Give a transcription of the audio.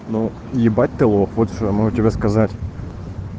ну ебать ты лох вот что я могу тебе сказать